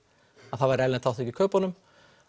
að það væri erlend þátttaka í kaupunum